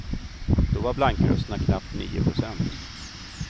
Då var blankrösterna knappt nio procent.